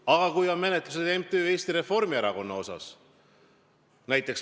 Aga kui on menetlus MTÜ Eesti Reformierakond asjus?